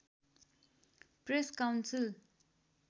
press council